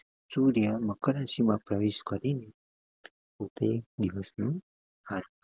સૂર્ય મકર રાશી માં પ્રવેશ કરીને દિવસ નુ